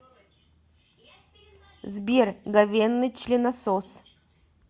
сбер говенный членосос